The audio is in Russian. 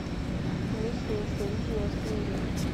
миссия ясновидения установи